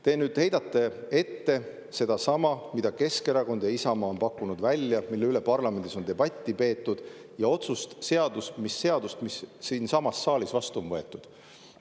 Te heidate ette sedasama, mida Keskerakond ja Isamaa on pakkunud välja, mille üle parlamendis on debatti peetud, ja otsust, seadust, mis siinsamas saalis vastu on võetud.